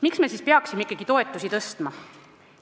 Miks me siis ikkagi peaksime toetusi tõstma?